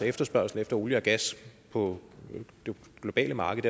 efterspørgsel efter olie og gas på det globale marked